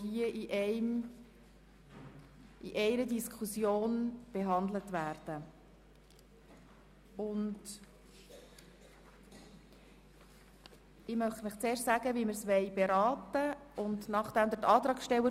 Auf die Massnahme ist zu verzichten, solange nicht sichergestellt ist, dass das Behindertenkonzept von 2011 umgesetzt werden kann und geklärt ist, wie ab 2020 das neue Finanzierungsmodell realisiert werden kann, welches die Selbstbestimmung und Teilhabe realisieren will.